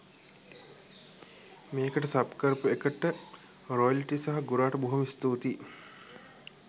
මේකට සබ් කරපු එකට රොයිලිට සහ ගුරාට බොහොම ස්තුතියි.